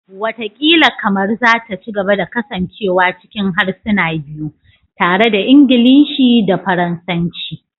Wataƙila Kamaru za ta ci gaba da kasancewa cikin harsuna biyu, tare da Ingilishi da Faransanci.